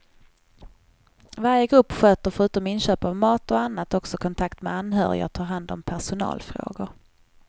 Varje grupp sköter förutom inköp av mat och annat också kontakt med anhöriga och tar hand om personalfrågor.